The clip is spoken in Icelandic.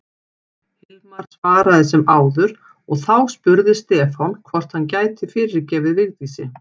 Hilmar svaraði sem áður og þá spurði Stefán hvort hann gæti fyrirgefið Vigdísi.